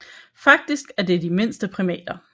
Faktisk er det de mindste primater